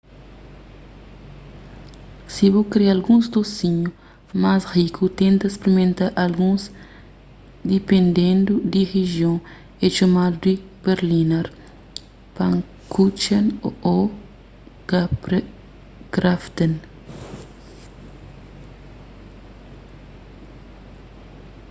si bu kre alguns dosinhu mas riku tenta sprimenta alguns dipendendu di rijion é txomadu di berliner pfannkuchen ô krapfen